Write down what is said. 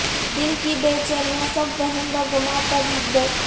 دل کی بے چینیاں سب وہم و گماں پر رکھ دو